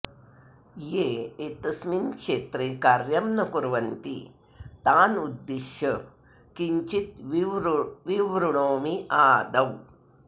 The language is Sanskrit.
ये एतस्मिन् क्षेत्रे कार्यं न कुर्वन्ति तान् उद्दिश्य किञ्चित् विवृणोमि आदौ